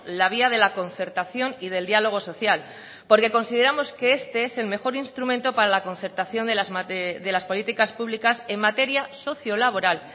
la vía de la concertación y del diálogo social porque consideramos que este es el mejor instrumento para la concertación de las políticas públicas en materia socio laboral